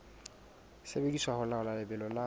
sebediswa ho laola lebelo la